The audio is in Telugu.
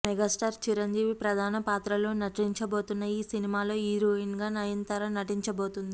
మెగాస్టార్ చిరంజీవి ప్రధాన పాత్రలో నటించబోతున్న ఈ సినిమాలో హీరోయిన్గా నయనతార నటించబోతుంది